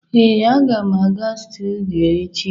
ee, aga m aga studio echi